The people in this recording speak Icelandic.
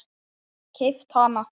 Keypt hana?